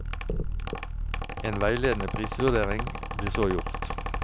En veiledende prisvurdering blir så gjort.